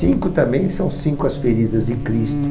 Cinco também são cinco as feridas de Cristo.